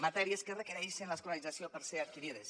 matèries que requereixen l’escolarització per ser adquirides